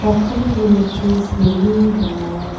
पख्खल के नीचे सीढ़ी बनाया--